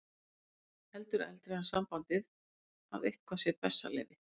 Heldur eldra er sambandið að eitthvað sé bessaleyfi.